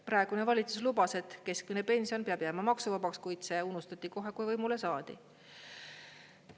Praegune valitsus lubas, et keskmine pension peab jääma maksuvabaks, kuid see unustati kohe, kui võimule saadi.